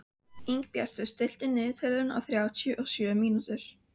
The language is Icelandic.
Ingibjartur, stilltu niðurteljara á þrjátíu og sjö mínútur.